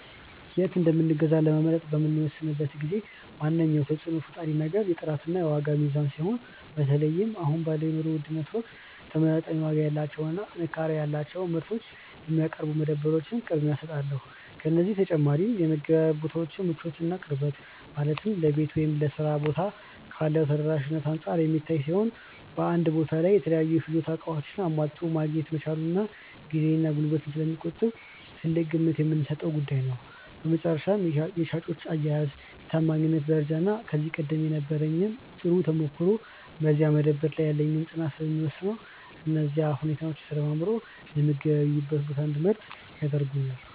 የት እንደምገዛ ለመምረጥ በምወስንበት ጊዜ ዋነኛው ተጽዕኖ ፈጣሪ ነገር የጥራትና የዋጋ ሚዛን ሲሆን፣ በተለይም አሁን ባለው የኑሮ ውድነት ወቅት ተመጣጣኝ ዋጋ ያላቸውንና ጥንካሬ ያላቸውን ምርቶች የሚያቀርቡ መደብሮች ቅድሚያ እሰጣቸዋለሁ። ከዚህ በተጨማሪ የመገበያያ ቦታው ምቾትና ቅርበት፣ ማለትም ለቤት ወይም ለሥራ ቦታ ካለው ተደራሽነት አንጻር የሚታይ ሲሆን፣ በአንድ ቦታ ላይ የተለያዩ የፍጆታ ዕቃዎችን አሟልቶ ማግኘት መቻሉም ጊዜንና ጉልበትን ስለሚቆጥብ ትልቅ ግምት የምሰጠው ጉዳይ ነው። በመጨረሻም የሻጮች አያያዝ፣ የታማኝነት ደረጃና ከዚህ ቀደም የነበረኝ ጥሩ ተሞክሮ በዚያ መደብር ላይ ያለኝን ፅናት ስለሚወስነው፣ እነዚህ ሁኔታዎች ተደማምረው የምገበያይበትን ቦታ እንድመርጥ ያደርጉኛል።